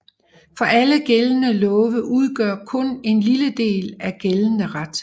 For alle gældende love udgør kun en lille del af gældende ret